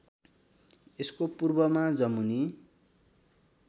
यसको पूर्वमा जमुनी